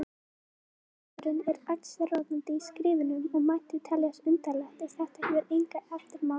Dónaskapurinn er allsráðandi í skrifunum og mætti teljast undarlegt ef þetta hefur enga eftirmála.